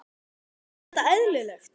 Er þetta eðlilegt?